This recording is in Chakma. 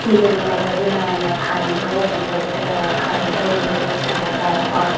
Iben olode he naam honne currento office obode I currento office o dok dega jar but.